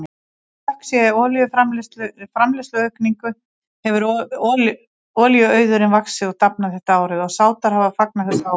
Þökk sé framleiðsluaukningu hefur olíuauðurinn vaxið og dafnað þetta árið og Sádar hafa fagnað þessu ákaft.